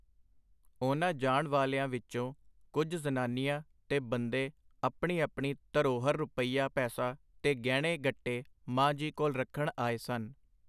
ਉਨ੍ਹਾਂ ਜਾਣ ਵਾਲਿਆਂ ਵਿੱਚੋਂ ਕੁਝ ਜ਼ਨਾਨੀਆਂ ਤੇ ਬੰਦੇ ਆਪਣੀ ਆਪਣੀ ਧਰੋਹਰ ਰੁਪਈਆ ਪੈਸਾ ਤੇ ਗਹਿਣੇ ਗੱਟੇ ਮਾਂ ਜੀ ਕੋਲ ਰੱਖਣ ਆਏ ਸਨ.